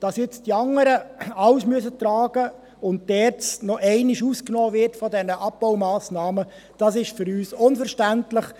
Dass die anderen alles tragen müssen und die ERZ bei diesen Abbaumassnahmen noch einmal ausgenommen wird, ist für uns unverständlich.